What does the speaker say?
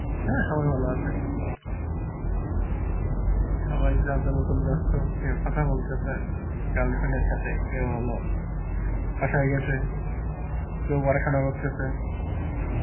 হ্যাঁ সবাই ভালো আসে, সবাই যার যার মতন বেস্ত কেউ কথা বলতেসে girlfriend এর সথে কেউ হলো বাসায় গেছে, কেউ পড়াসনা করতেসে